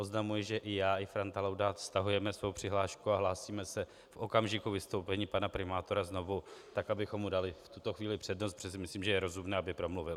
Oznamuji, že i já i Franta Laudát stahujeme svou přihlášku a hlásíme se v okamžiku vystoupení pana primátora znovu tak, abychom mu dali v tuto chvíli přednost, protože si myslím, že je rozumné, aby promluvil.